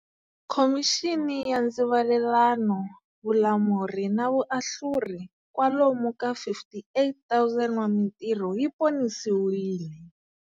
Khomixini ya Ndzivalelano, Vulamuri na Vuahluri, kwalomu ka 58 000 wa mitirho yi ponisiwile.